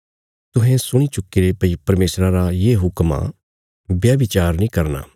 तुहें सुणी चुक्कीरे भई परमेशरा रा ये हुक्म आ व्यभिचार नीं करना